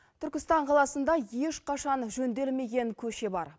түркістан қаласында ешқашан жөнделмеген көше бар